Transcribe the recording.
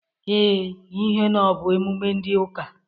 Ee, n'ihe na ọ bụ emume ndị ụka.